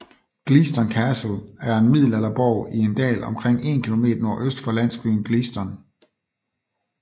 Gleaston Castle er en middelalderborg i en dal omkring 1 km nordøst for landsbyen Gleaston